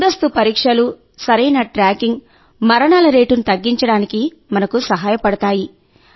ముందస్తు పరీక్షలు సరైన ట్రాకింగ్ మరణాల రేటును తగ్గించడానికి మనకు సహాయపడతాయి